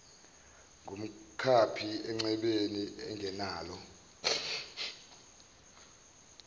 ngumkhaphi encwebeni engenalo